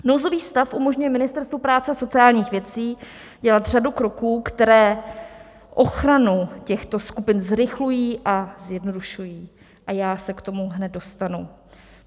Nouzový stav umožňuje Ministerstvu práce a sociálních věcí dělat řadu kroků, které ochranu těchto skupin zrychlují a zjednodušují, a já se k tomu hned dostanu.